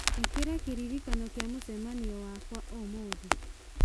ĩkĩra kĩririkano kĩa mũcemanio wakwa wa ũmũthĩ